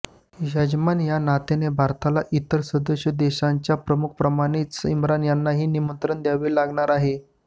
यजमान या नात्याने भारताला इतर सदस्य देशांच्या प्रमुखांप्रमाणेच इम्रान यांनाही निमंत्रण द्यावे लागणार आहे